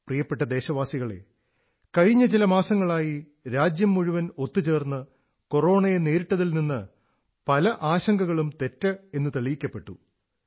പ്രിയപ്പെട്ട ദേശവാസികളേ കഴിഞ്ഞ ചില മാസങ്ങളായി രാജ്യം മുഴുവൻ ഒത്തുചേർന്ന് കൊറോണയെ നേരിട്ടതിൽ നിന്ന് പല ആശങ്കകളും തെറ്റെന്നു തെളിയിക്കപ്പെട്ടു